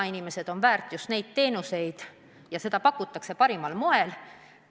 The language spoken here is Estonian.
Inimesed on neid teenuseid väärt ja neid pakutakse parimal moel.